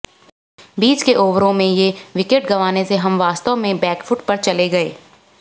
बीच के ओवरों में ये विकेट गंवाने से हम वास्तव में बैकफुट पर चले गये